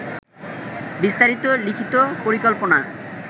বিস্তারিত লিখিত পরিকল্পনা